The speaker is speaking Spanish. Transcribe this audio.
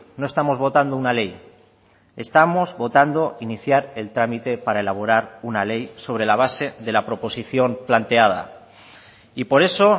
no estamos votando una ley estamos votando iniciar el trámite para elaborar una ley sobre la base de la proposición planteada y por eso